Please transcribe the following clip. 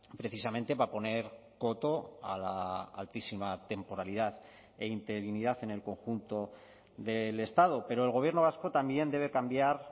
precisamente para poner coto a la altísima temporalidad e interinidad en el conjunto del estado pero el gobierno vasco también debe cambiar